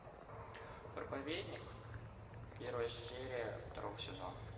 проповедник первая серия второго сезона